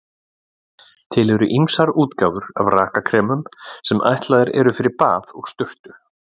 Til eru ýmsar útgáfur af rakakremum sem ætlaðar eru fyrir bað og sturtu.